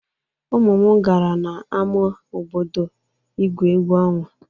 Ụmụ m gara n'ama obodo ígwu egwu ọnwa.